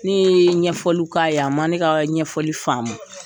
Ne ye ɲɛfɔliw k'a ye a ma ne ka ɲɛfɔli faamu.